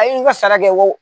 A' ye n ka sara kɛ